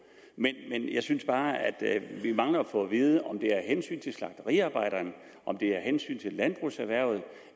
men jeg synes bare vi mangler at få at vide om det er af hensyn til slagteriarbejderne om det er af hensyn til landbrugserhvervet